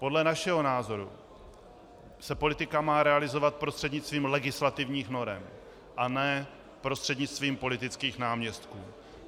Podle našeho názoru se politika má realizovat prostřednictvím legislativních norem, a ne prostřednictvím politických náměstků.